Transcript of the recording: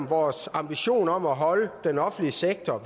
vores ambition om at holde størrelsen af den offentlige sektor